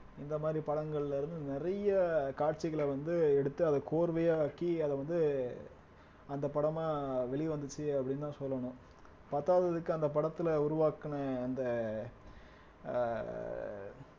இந்த மாதிரி படங்கள்ல இருந்து நிறைய காட்சிகள வந்து எடுத்து அத கோர்வையாக்கி அத வந்து அந்த படமா வெளிய வந்துச்சு அப்படின்னுதான் சொல்லணும் பத்தாததுக்கு அந்த படத்துல உருவாக்குன அந்த ஆஹ்